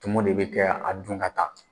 Tumu de bɛ ka a dun ka taa